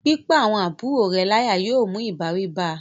pípá àwọn àbúrò rẹ̀ láyà yóò mú ìbáwí bá a